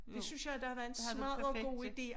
Det synes jeg det havde været en smadder god ide